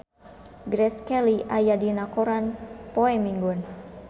Grace Kelly aya dina koran poe Minggon